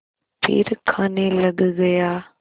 फिर खाने लग गया